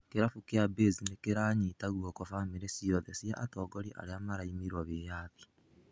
Kĩrabu kĩa Baze nĩkĩranyita guoko famĩrĩ ciothe cia atogoria arĩa maraimirwo wĩyathi.